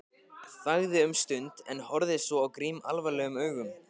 Þagði um stund en horfði svo á Grím alvarlegum augum.